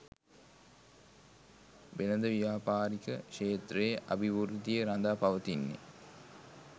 වෙළඳ ව්‍යාපාරික ක්ෂේත්‍රයේ අභිවෘද්ධිය රඳා පවතින්නේ